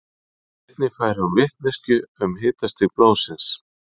Einnig fær hún vitneskju um hitastig blóðsins.